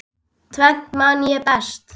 Tvennt man ég best.